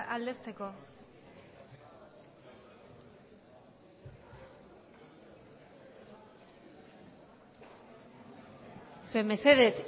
aldezteko zuek mesedez